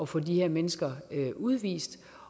få de her mennesker udvist